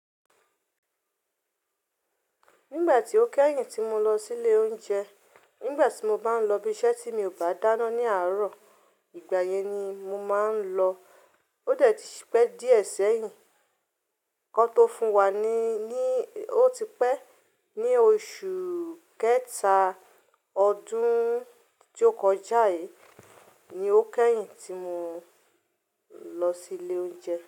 Nígbà tí ó kẹ́yìn tí mo lọ sí ilé oúnjẹ, nígbà tí mo bá ń lọ ibi iṣẹ́ tí mi ò bá dáná ní àárò, ìgbà yẹn ni mo máa ń lọ. Ó dẹ̀ ti pẹ́ díẹ̀ sẹ́yìn, ki won tó fún wa ni ní ó ti pẹ́. Ni oṣù kẹta ọdún tó kọjá yìí ni ó kẹ́yìn tí mo lọ sí ilé oúnjẹ.